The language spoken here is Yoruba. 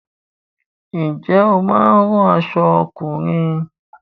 Ǹjẹ́ o máa ń rán aṣọ ọkùnrin?